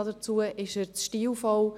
Dazu ist er zu stilvoll.